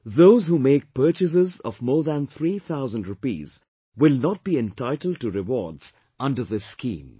Those who make purchases of more than three thousand rupees will not be entitled to rewards under this scheme